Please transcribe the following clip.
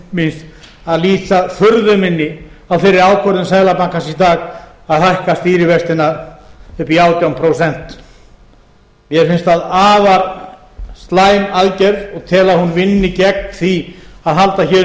máls míns að lýsa furðu minni á þeirri ákvörðun seðlabankans í dag að hækka stýrivextina upp í átján prósent mér finnst það afar slæm aðgerð og tel að hún vinni gegn því að halda hér